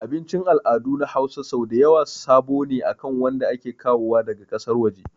Abicin al'adu na Hausa sau dayawa sabo ne akan wanda ake kawowa daga ƙasar waje